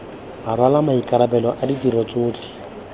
rwala maikarabelo a ditiro tsotlhe